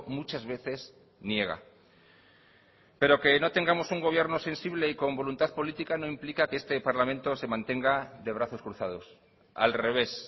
muchas veces niega pero que no tengamos un gobierno sensible y con voluntad política no implica que este parlamento se mantenga de brazos cruzados al revés